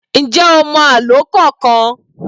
Ǹjẹ́ o mọ àlọ́ kankan?